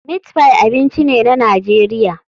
Meatpie abinci ne na Najeriya.